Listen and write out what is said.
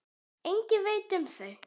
Enginn veit um þau.